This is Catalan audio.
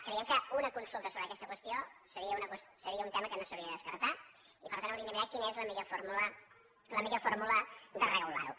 creiem que una consulta sobre aquesta qüestió seria un tema que no s’hauria de descartar i per tant hauríem de mirar quina és la millor fórmula de regular ho